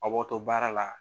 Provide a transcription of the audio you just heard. A b'aw to baara la